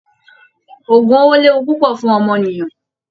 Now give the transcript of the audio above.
Ògùn owó léwu púpọ̀ fún ọmọnìyàn